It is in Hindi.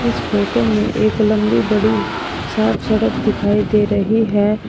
इस फोटो में एक लंबी बड़ी साफ सड़क दिखाई दे रही है।